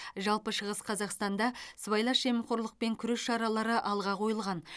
жалпы шығыс қазақстанда сыбайлас жемқорлықпен күрес шаралары алға қойылған